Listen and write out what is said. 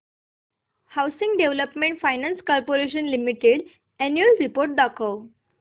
housing Development Finance Corporation Limited annual report दाखव